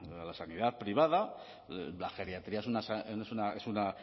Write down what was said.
a la sanidad privada la geriatría es una